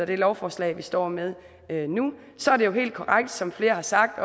det lovforslag vi står med med nu og så er det jo helt korrekt som flere har sagt